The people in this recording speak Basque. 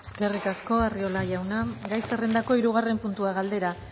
eskerrik asko arriola jauna gai zerrendako hirugarren puntua galdera